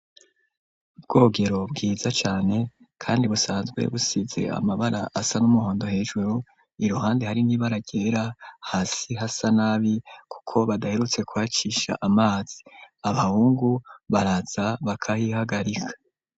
Ubwogero bwiza cane kandi busanzwe busize amabara asa n'umuhondo hejuru, iruhande hari n'ibara ryera, hasi hasa nabi kuko badaherutse kuhacisha amazi. Abahungu baraza bakahihagarika.